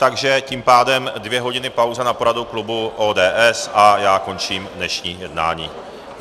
Takže tím pádem dvě hodiny pauza na poradu klubu ODS a já končím dnešní jednání.